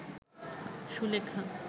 Sulekha